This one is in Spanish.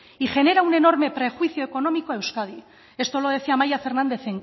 y genera un enorme prejuicio económico a euskadi esto lo decía amaia fernández